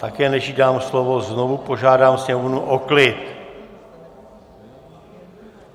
Také, než jí dám slovo, znovu požádám sněmovnu o klid!